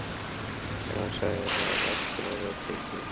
En hann sagði: Það er vægt til orða tekið.